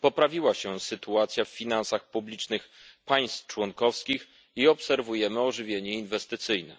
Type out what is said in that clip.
Poprawiła się sytuacja w finansach publicznych państw członkowskich i obserwujemy ożywienie inwestycyjne.